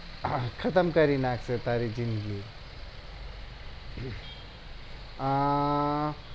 હા ખતમ કરી નાખી તારી જિંદગી આહ